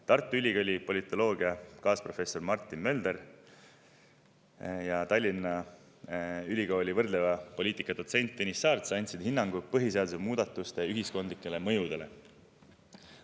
Tartu Ülikooli politoloogia kaasprofessor Martin Mölder ja Tallinna Ülikooli võrdleva poliitika dotsent Tõnis Saarts andsid hinnangu põhiseaduse muudatuse ühiskondlikele mõjudele.